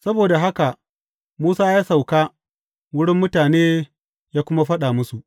Saboda haka Musa ya sauka wurin mutane ya kuma faɗa musu.